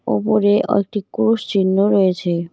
ওপরে ও একটি ক্রুশ চিহ্ন রয়েছে।